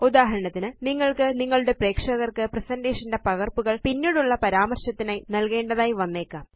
ഉദാഹരണത്തിന് നിങ്ങള്ക്ക് നിങ്ങളുടെ പ്രേക്ഷകര്ക്ക് പ്രസന്റേഷൻ ന്റെ പകര്പ്പുകള് പിന്നീടുള്ള പരാമര്ശത്തിനായാണ് നല്കേണ്ടതായി വന്നേക്കാം